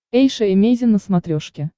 эйша эмейзин на смотрешке